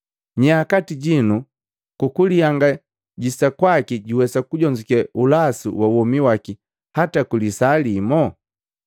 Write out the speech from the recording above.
Nyaa kati jinu kukulihangajisa kwaki juwesa kujonzuke ulasu wa womi wake hata kwilisaa limo?